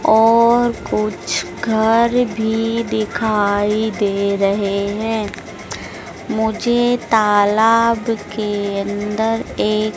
और कुछ घर भी दिखाई दे रहे हैं मुझे तालाब के अंदर एक--